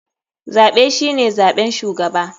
Zaɓe shine zaɓen shugaba.